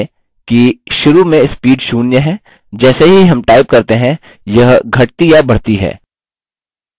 ध्यान दें कि शुरू में speed 0 है जैसे ही हम type करते हैं यह घटती या बढ़ती है